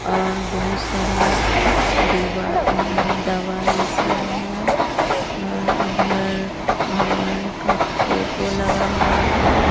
और बहुत सारा दवाई सब है और इधर भगवान का फोटो लगा हुआ है।